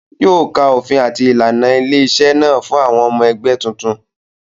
Yóò ka òfin àti ìlànà ilé-iṣẹ́ náà fún àwọn ọmọ ẹgbẹ́ tuntun.